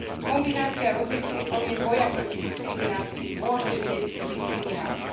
Kombinácia rozličných foriem boja proti diskriminácii môže viesť k diskriminácii.